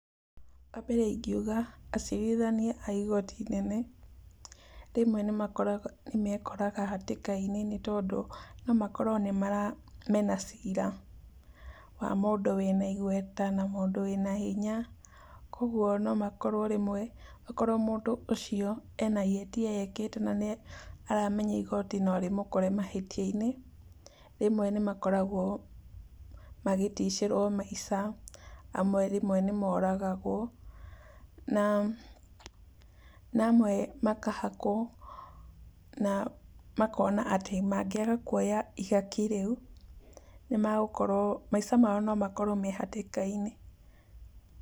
Wa mbere ingiuga acirithania a igoti inene rĩmwe nĩmakoraga nĩmekoraga hatĩka-inĩ nĩ tondũ no makorwo mena cira wa mũndũ wĩna igweta na mũndũ wĩna hinya, kwa ũguo no makorwo rĩmwe okorwo mũndũ ũcio ena ihĩtia ekĩte na nĩ aramenya igoti no rĩmũkore mahĩtia-inĩ rĩmwe nĩmakoragwo magĩticĩrwo maica, amwe rĩmwe nĩmoragagwo na na amwe makahakwo na makona atĩ mangĩaga kuoya ihaki rĩu nĩmagũkorwo maica mao no makorwo me hatĩka-inĩ.